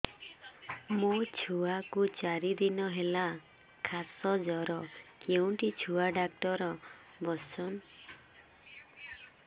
ମୋ ଛୁଆ କୁ ଚାରି ଦିନ ହେଲା ଖାସ ଜର କେଉଁଠି ଛୁଆ ଡାକ୍ତର ଵସ୍ଛନ୍